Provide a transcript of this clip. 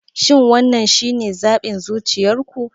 Shin wannan shine zaɓin zuciyar ku?